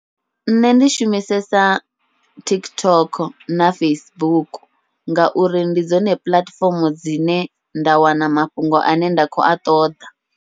Nṋe ndi shumisesa TikTok na Facebook, ngauri ndi dzone puḽatifomo dzine nda wana mafhungo ane nda khou a ṱoḓa.